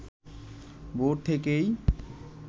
ভোর থেকেই